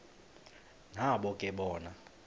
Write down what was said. nabo ke bona